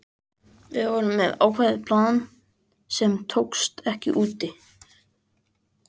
Við vorum með ákveðið plan sem tókst ekki úti.